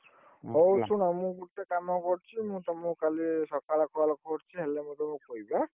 ହଉ ଶୁଣ ମୁ ଗୁଟେ କାମ କରୁଛି ମୁ ତମକୁ କାଲି ସଖାଳ call କରୁଛି ହଲେ ମୁଁ ତମକୁ କହିବି ଅନ।